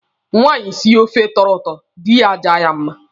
Nwaanyị sie ofe tọrọ ụtọ, dị ya ajaa ya mma.